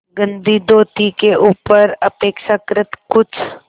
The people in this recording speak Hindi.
गंदी धोती के ऊपर अपेक्षाकृत कुछ